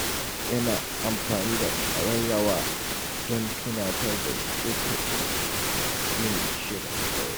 Yana amfani da ƙararrawa don tunatar da shi lokacin yin shirin dare.